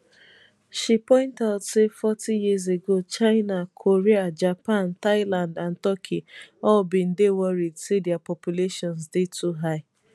she point out say forty years ago china korea japan thailand and turkey all bin dey worried say dia populations dey too high